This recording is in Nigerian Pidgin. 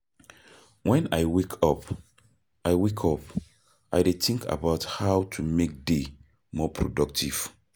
When I wake up, I wake up, I dey think about how to make day more productive.